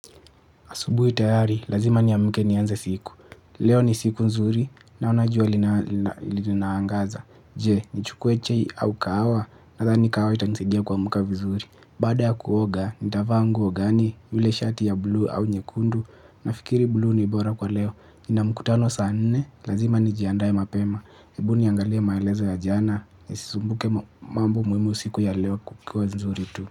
Asubui tayari, lazima niamke nianze siku. Leo ni siku nzuri, naona jua linaangaza. Je, nichukue chei au kahawa, nadhani kahawa itanisaidia kuamka vizuri. Baada ya kuoga, nitavaa nguo gani, yule shati ya blue au nyekundu. Nafikiri buluu ni bora kwa leo nina mkutano saa nne lazima nijiandae mapema. Ebu niangalie maelezo ya jana, nisisumbuke mambo muhimu siku ya leo kuwe nzuri tu.